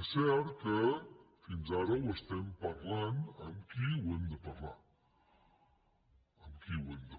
és cert que fins ara ho estem parlant amb qui ho hem de parlar i molt